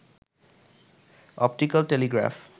optical Telegraph